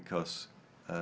k s